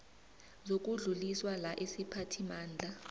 zokudluliswa la isiphathimandla